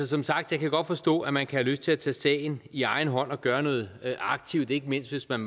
som sagt jeg kan godt forstå at man kan have lyst til at tage sagen i egen hånd og gøre noget aktivt ikke mindst hvis man